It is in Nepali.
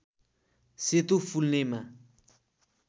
सेतो फुल्नेमा